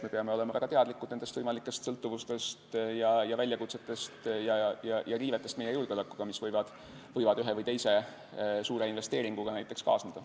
Me peame olema väga teadlikud võimalikest sõltuvustest, väljakutsetest ja meie julgeoleku riivetest, mis võivad näiteks ühe või teise suure investeeringuga kaasneda.